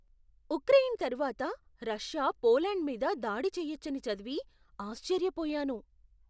Ukraine తరువాత Russia Poland మీద దాడి చేయొచ్చని చదివి ఆశ్చర్యపోయాను.